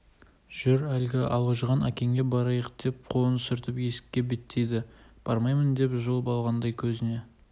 жүр әлгі алжыған әкеңе барайық деп қолын сүртіп есікке беттеді бармаймын деді жұлып алғандай көзінде